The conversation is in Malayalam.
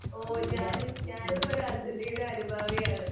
ഓഹ് ഞാനും ഞാനും ഒരു അർജെൻറ്റീന അനുഭാവിയാണ്.